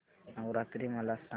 नवरात्री मला सांगा